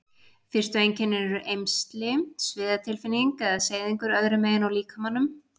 Fyrstu einkennin eru eymsli, sviðatilfinning eða seyðingur öðru megin á líkamanum.